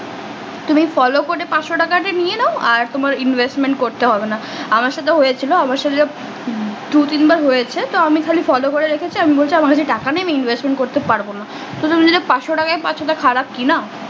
তুমি follow করে পাঁচশো টাকা আগে নিয়ে নাও আর তোমার investment করতে হবে না আমার সাথে হয়ে ছিল আমার সাথে দু তিন বার হয়েছে তো আমি খালি follow করে রেখেছি আমি বলছে আমার কাছে টাকা নেই আমি investment করতে পারবো না কিন্তু তুমি যে পাঁচশো টাকা পাচ্ছ ওটা খারাপ কি না